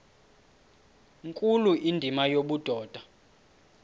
nkulu indima yobudoda